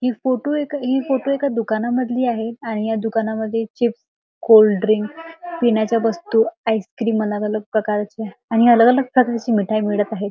हि फोटो एका हि फोटो एका दुकानामधली आहे आणि या दुकानामध्ये चिप्स कोल्डड्रिंक्स पिण्याच्या वस्तू आईसक्रीम अलग अलग प्रकारच्या आणि अलग अलग प्रकारची मिठाई मिळत आहे.